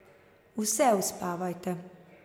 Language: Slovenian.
Vse uspavajte.